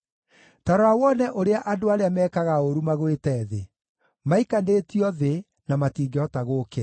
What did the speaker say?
Ta rora wone ũrĩa andũ arĩa mekaga ũũru magwĩte thĩ; maikanĩtio thĩ, na matingĩhota gũũkĩra!